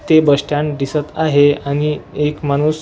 ते bus stand दिसत आहे आणि एक माणूस--